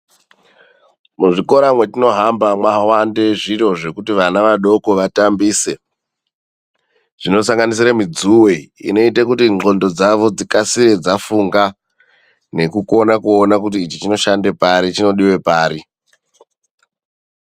Muzvikora matinohamba mawanda zviro zvekuti vana vadoko vatambise ,zvinosanganisira midzuwe inoite kuti nqondo dzavo dzikasire dzafunga nekukona kuona kuti ichi choshanda pari chodiwe pari .